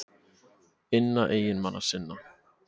inna eiginmanna sinna.